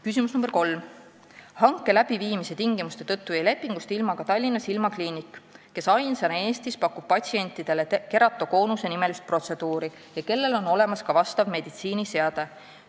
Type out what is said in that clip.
Küsimus nr 3: "Hanke läbiviimise tingimuste tõttu jäi lepingust ilma ka Tallinna silmakliinik, kes ainsana Eestis pakub patsientidele keratokoonuse-nimelist protseduuri ja kellel on olemas ka vastav meditsiiniseade.